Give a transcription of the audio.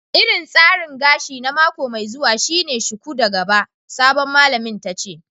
Irin tsarin gashi na mako mai zuwa shine shuku da gaba, sabon malamin tace.